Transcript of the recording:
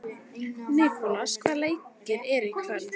Nikolas, hvaða leikir eru í kvöld?